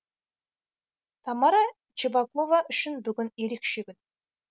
тамара чебакова үшін бүгін ерекше күн